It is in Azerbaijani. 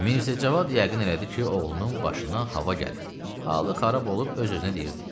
Mirzəcavad yəqin elədi ki, oğlunun başına hava gəlib, halı xarab olub öz-özünə deyirdi: